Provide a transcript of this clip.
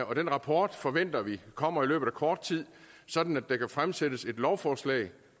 og den rapport forventer vi kommer i løbet af kort tid sådan at der kan fremsættes et lovforslag